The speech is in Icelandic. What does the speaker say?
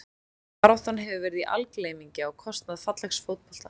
Baráttan hefur verið í algleymingi á kostnað fallegs fótbolta.